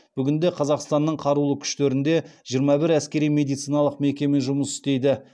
бүгінде қазақстанның қарулы күштерінде жиырма бір әскери медициналық мекеме жұмыс істейді